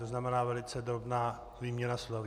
To znamená velice drobná výměna slov.